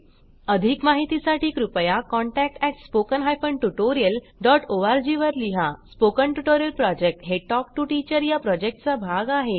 अधिक माहितीसाठी कृपया contact at spoken hyphen tutorial dot ORG वर लिहा स्पोकन ट्युटोरियल प्रॉजेक्ट हे टॉक टू टीचर या प्रॉजेक्टचा भाग आहे